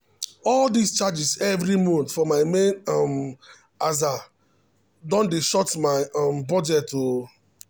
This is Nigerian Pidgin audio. all dis charges every month for my main um aza don dey short my um budget o.